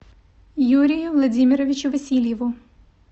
юрию владимировичу васильеву